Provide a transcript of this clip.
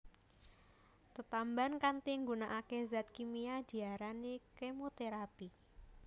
Tetamban kanthi nggunakake zat kimia diarani kemoterapi